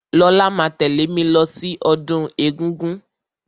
Lọlá máa tẹ̀lẹ́ mí lọ sí ọdún egúngún.